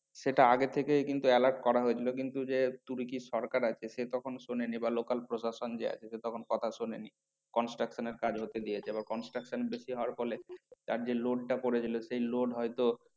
সেটা আগে থেকেই কিন্তু alert করা হয়েছিল কিন্তু যে তুর্কির সরকার আছে সে তখন শোনেনি বা local প্রশাসন যে আছে সে তখন কথা শোনেনি। construction এর কাজ হতে দিয়েছে বা construction বেশি হওয়ার ফলে তার যে load টা পড়েছিল সেই load হয়তো